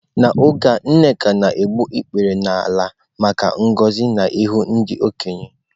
N'oge a nneka na-egbu ikpere n'ala maka ngọzi n'ihu ndị okenye.